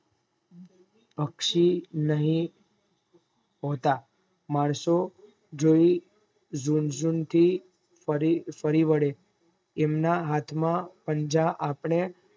પક્ષી ની હતા માણસો જી જુન્જુન્થ પરીવાડે એમના હાથ ના પંજા આપડે